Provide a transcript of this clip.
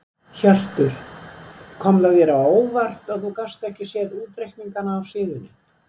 Hjörtur: Kom þér á óvart að þú gast ekki séð útreikningana á síðunni?